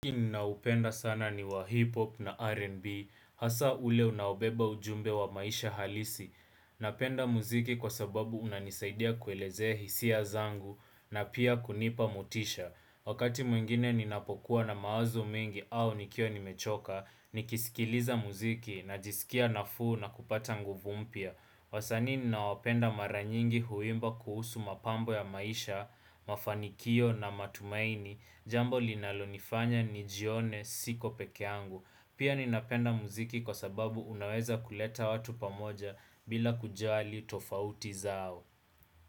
Muziki ninaupenda sana ni wa hip-hop na R&B, hasa ule unaobeba ujumbe wa maisha halisi. Napenda muziki kwa sababu unanisaidia kuelekea hisia zangu na pia kunipa motisha. Wakati mwingine ninapokuwa na mawazo mengi au nikiwa nimechoka, nikisikiliza muziki, najisikia nafuu na kupata nguvu mpya. Wasanii ninaopenda mara nyingi huimba kuhusu mapambo ya maisha, mafanikio na matumaini, jambo linalonifanya nijione siko pekee yangu. Pia ninapenda mziki kwa sababu unaweza kuleta watu pamoja bila kujali tofauti zao.